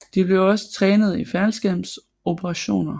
De blev også trænet i faldskærmsoperationer